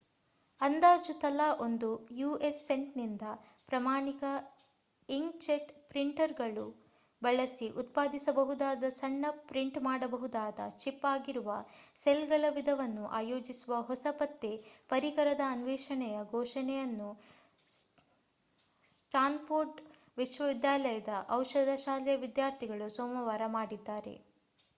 ಅಂದಾಜು ತಲಾ ಒಂದು ಯು.ಎಸ್‌ ಸೆಂಟ್‌ನಿಂದ ಪ್ರಮಾಣಿತ ಇಂಕ್‌ಜೆಟ್ ಪ್ರಿಂಟರುಗಳನ್ನು ಬಳಸಿ ಉತ್ಪಾದಿಸಬಹುದಾದ ಸಣ್ಣ ಪ್ರಿಂಟ್ ಮಾಡಬಹುದಾದ ಚಿಪ್‌ ಆಗಿರುವ ಸೆಲ್‌ಗಳ ವಿಧವನ್ನು ಆಯೋಜಿಸುವ ಹೊಸ ಪತ್ತೆ ಪರಿಕರದ ಅನ್ವೇಷಣೆಯ ಘೋಷಣೆಯನ್ನು ಸ್ಟಾನ್‌ಫೋರ್ಡ್‌ ವಿಶ್ವವಿದ್ಯಾಲಯದ ಔಷಧ ಶಾಲೆಯ ವಿದ್ಯಾರ್ಥಿಗಳು ಸೋಮವಾರ ಮಾಡಿದ್ದಾರೆ